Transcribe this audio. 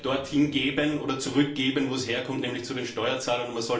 Das Geld sollte man dort hingeben oder zurückgeben, wo es herkommt, nämlich den Steuerzahlern.